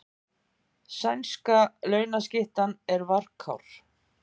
Sænska launskyttan er varkár